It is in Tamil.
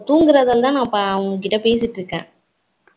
தூங்குறதுநாளதான் நா உன் கிட்ட பேசிட்டு இருக்கேன்